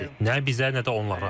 Nə bizə, nə də onlara.